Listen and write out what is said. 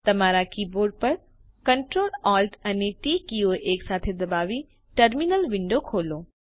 તમારા કીબોર્ડ પર Ctrl Alt અને ટી કીઓ એકસાથે દબાવી ટર્મિનલ વિન્ડો ખોલો